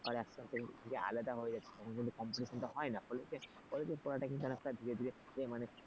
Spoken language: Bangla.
তারপর একসাথে যে আলাদা হয়ে যাবে কিন্তু competition হয়না college college পড়াটা ধীরে ধীরে মানে,